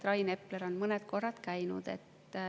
Rain Epler on mõned korrad käinud.